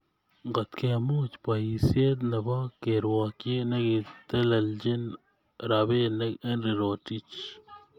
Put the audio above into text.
Ngotkemuch boisiet nebo kerwokchi nekitelelchin robinik Henry Rotich